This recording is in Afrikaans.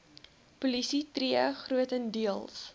polisie tree grotendeels